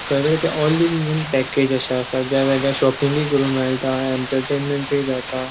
असा ज्या जाग्यार शॉपिंगूय करुंक मेळटा एंटरटेनमेंटुय जाता.